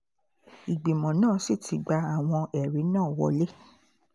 ìgbìmọ̀ náà sì ti gba àwọn ẹ̀rí náà wọ̀lẹ̀